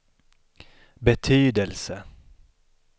betydelse